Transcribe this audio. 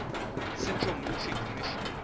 central military commission